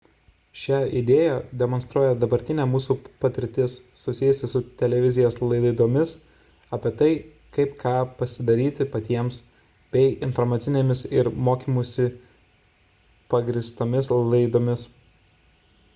šią idėją demonstruoja dabartinė mūsų patirtis susijusi su televizijos laidomis apie tai kaip ką pasidaryti patiems bei informacinėmis ir mokymusi pagrįstomis laidomis